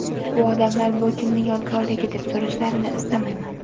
U ‘odamlar bu kimning yodgorligi deb so‘rashlarini istamayman.